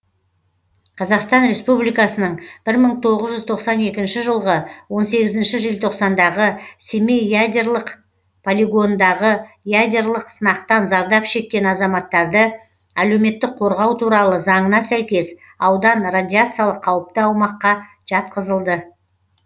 қазақстан республикасының бір мың тоғыз жүз тоқсан екінші жылғы он сегізінші желтоқсандағы семей ядерлық полигонындағы ядерлық сынақтан зардап шеккен азаматтарды әлеуметтік қорғау туралы заңына сәйкес аудан радиациялық қауіпті аумаққа жатқызылды